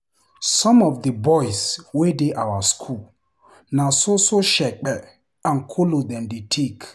Some of di boys wey dey our school, na so so shepe and kolos dem dey take.